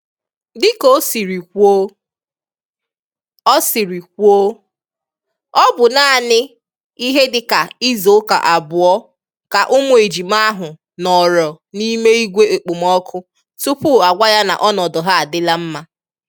Dịka o siri kwuo, ọ siri kwuo, ọ bụ naanị ihe dịka izu ụka abụọ ka ụmụ ejima ahụ nọọrọ n'ime igwe ekpomọkụ tupu agwa ya na ọnọdụ ha adịla mma